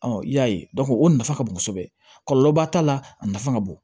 i y'a ye o nafa ka bon kosɛbɛ kɔlɔlɔba t'a la a nafa ka bon